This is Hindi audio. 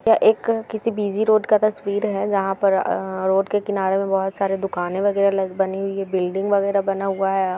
यह एक अ किसी बीजी रोड का तस्वीर है जहाँ पर रोड के किनारे में बहुत सारे दुकाने वगेरा बनी हुई है बिल्डिंग वगेरा बना हुआ है ।